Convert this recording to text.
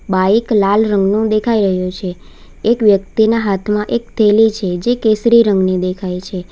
Bike લાલ રંગનું દેખાય રહ્યું છે એક વ્યક્તિના હાથમાં એક થેલી છે જે કેસરી રંગની દેખાય છે.